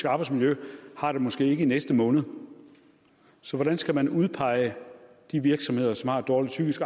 arbejdsmiljø har det måske ikke i næste måned så hvordan skal man udpege de virksomheder som har et dårligt psykisk